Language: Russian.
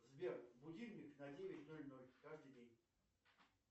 сбер будильник на девять ноль ноль каждый день